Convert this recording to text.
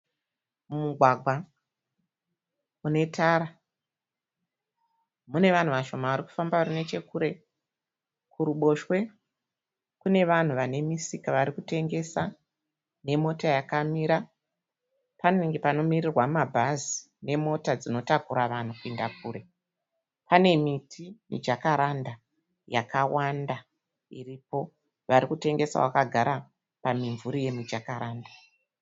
Mumugwagwa mune tara mune vanhu vashona vari kufamba vari nechekure . kuruboshwe kune vanhu vanemisika varikutengesa nemota yakamira panenge panomirirwa mabhazi nemota dzinotakura vanhu kuenda kure. Pane miti yemi jakaranda yakawanda iripo. Panevanhu varikutengesa vakagara pamumvuri we mijakaranda.